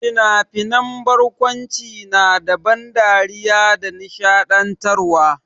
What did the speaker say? Fina-finan barkwanci na da ban dariya da nishaɗantarwa.